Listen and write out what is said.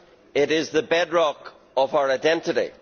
It is the bedrock of our identity.